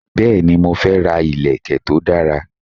Bẹ́ẹ̀ni, mo fe ra ìlèkè to dara